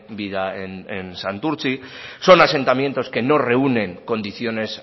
vida en santurtzi son asentamientos que no reúnen condiciones